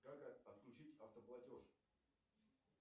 как отключить автоплатеж